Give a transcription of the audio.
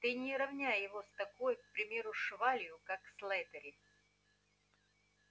ты не ровняй его с такой к примеру швалью как слэттери